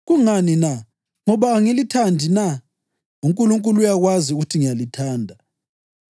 Kungani na? Ngoba angilithandi na? UNkulunkulu uyakwazi ukuthi ngiyalithanda!